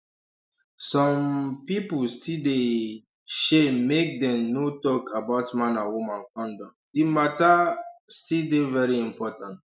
some um pipu still dey um shame make dem no talk about man and woman condom di matter um still dey very important